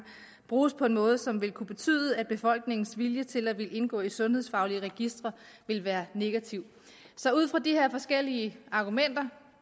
bruges på en måde som vil kunne betyde at befolkningens vilje til at ville indgå i sundhedsfaglige registre vil være negativ så ud fra de her forskellige argumenter